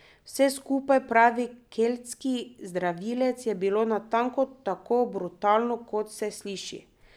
Vse skupaj, pravi keltski zdravilec, je bilo natanko tako brutalno, kot se sliši.